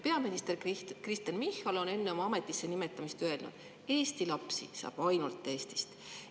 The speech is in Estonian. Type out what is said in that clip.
Peaminister Kristen Michal on enne tema ametisse nimetamist öelnud: Eesti lapsi saab ainult Eestist.